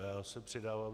Já se přidávám.